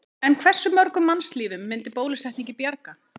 En hversu mörgum mannslífum myndi bólusetningin bjarga?